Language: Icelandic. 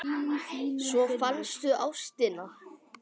Svo fannstu ástina.